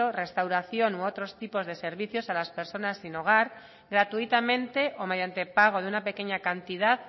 restauración u otros tipos de servicios a las personas sin hogar gratuitamente o mediante pago de una pequeña cantidad